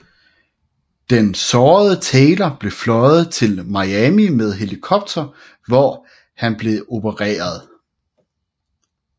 Den sårede Taylor blev fløjet til Miami med helikopter hvor han blev opereret